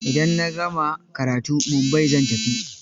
Idan na gama karatu, Mumbai zan tafi.